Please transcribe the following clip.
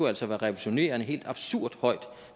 altså en revolutionerende helt absurd høj